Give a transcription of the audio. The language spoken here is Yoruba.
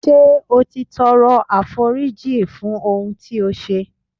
Ṣé o ti tọrọ àforíjìn fún ohun tí ó ṣe.